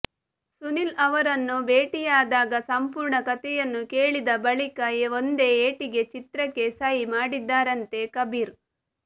ಸುನಿಲ್ ಅವರನ್ನು ಭೇಟಿಯಾದಾಗ ಸಂಪೂರ್ಣ ಕಥೆಯನ್ನು ಕೇಳಿದ ಬಳಿಕ ಒಂದೇ ಏಟಿಗೆ ಚಿತ್ರಕ್ಕೆ ಸಹಿ ಮಾಡಿದ್ದರಂತೆ ಕಬೀರ್